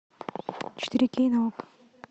четыре кей на окко